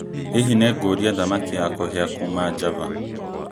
Hihi nĩ ngũũria thamaki wa kũhĩa kuuma Java